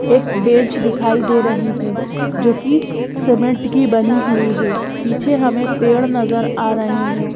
एक बेंच दिखाई दे रही है जो कि सीमेंट की बनी हुई है पीछे हमें पेड़ नजर आ रहे हैं।